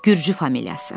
Gürcü familiyası.